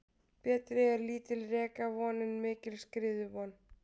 Betri er lítil rekavon en mikil skriðuvon.